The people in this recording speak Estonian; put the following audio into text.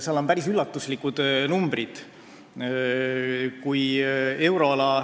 Seal on päris üllatuslikud numbrid.